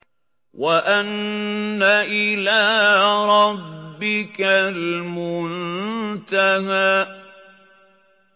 وَأَنَّ إِلَىٰ رَبِّكَ الْمُنتَهَىٰ